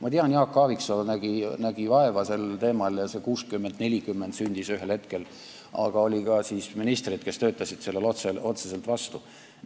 Ma tean, Jaak Aaviksoo nägi sel teemal vaeva ja see 60 : 40 ühel hetkel sündis, aga oli ka ministreid, kes töötasid sellele otseselt vastu.